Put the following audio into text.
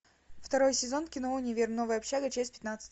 второй сезон кино универ новая общага часть пятнадцать